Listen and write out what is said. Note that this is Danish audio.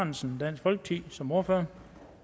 ahrendtsen dansk folkeparti som ordfører